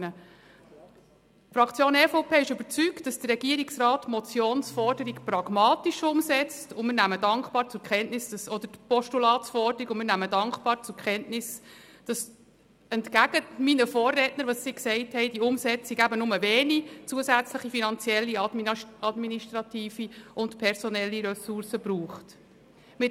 Die Fraktion EVP ist überzeugt, dass der Regierungsrat die Forderung des Postulats pragmatisch umsetzt, und wir nehmen dankbar zur Kenntnis, dass die Umsetzung nur wenige zusätzliche finanzielle, administrative und personelle Ressourcen erfordert – dies im Gegensatz zu den Aussagen meiner Vorredner.